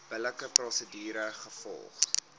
billike prosedure gevolg